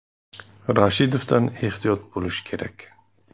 Rashidovdan ehtiyot bo‘lish kerak.